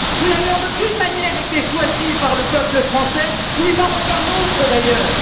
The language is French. Vous n'avez en aucune manière été choisi par le peuple français, ni par aucun autre d'ailleurs.